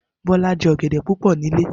Bola je ọ̀gẹ̀dẹ̀ púpò ní ilé.